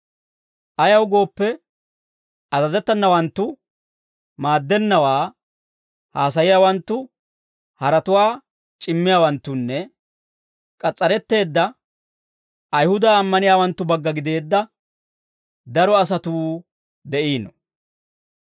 Ayaw gooppe, azazettenawanttu, maaddennawaa haasayiyaawanttu, haratuwaa c'immiyaawanttunne k'as's'aretteedda Ayihuda ammaniyaawanttu bagga gideedda daro asatuu de'iino.